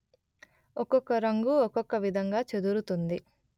ఒకొక్క రంగు ఒకొక్క విధంగా చెదురుతుంది